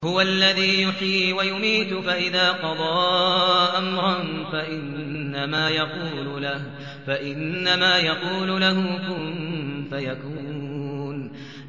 هُوَ الَّذِي يُحْيِي وَيُمِيتُ ۖ فَإِذَا قَضَىٰ أَمْرًا فَإِنَّمَا يَقُولُ لَهُ كُن فَيَكُونُ